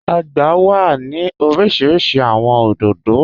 Ọ̀gbà wà ni orísíríṣí awọn odòdó.